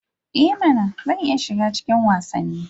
E mana! Zan iya shiga cikin wasanni.